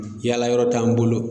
Yaala yɔrɔ t'an bolo.